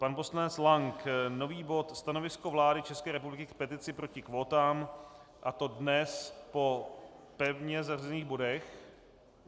Pan poslanec Lank - nový bod Stanovisko vlády České republiky k petici proti kvótám, a to dnes po pevně zařazených bodech.